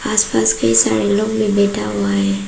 आसपास कई सारे लोग भी बैठा हुआ है।